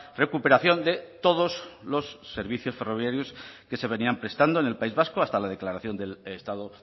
recuperación de todos los servicios ferroviarios que se venían prestando en el país vasco hasta la declaración del estado